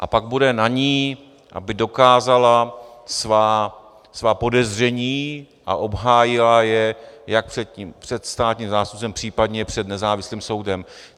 A pak bude na ní, aby dokázala svá podezření a obhájila je jak před státním zástupcem, případně před nezávislým soudem.